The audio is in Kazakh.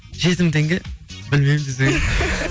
жеті мың теңге білмеймін десең